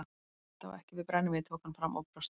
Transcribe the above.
En þetta á ekki við brennivínið tók hann fram og brosti.